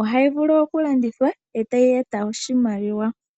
Ohayi vulu oku landithwa etayi eta oshimaliwa.